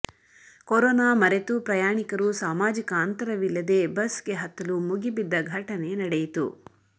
corona ಮರೆತು ಪ್ರಯಾಣಿಕರು ಸಾಮಾಜಿಕ ಅಂತರವಿಲ್ಲದೇ ಬಸ್ ಗೆ ಹತ್ತಲು ಮುಗಿಬಿದ್ದ ಘಟನೆ ನಡೆಯಿತು